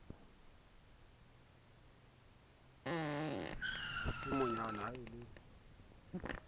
ha se monwana ha le